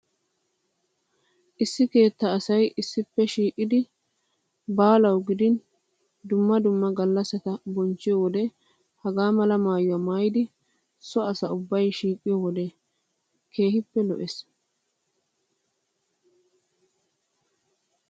Issi keettaa asay issippe shiiqidi baalawu gidin dumma dumma gallassata bonchchiyo wode hagaa mala maayuwa maayidi so asa ubbay shiiqiyo wode keehippe lo'ees.